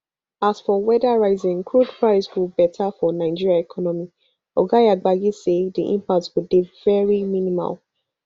as for weda rising crude price go beta for nigeria economy oga yabagi say di impact go dey very minimal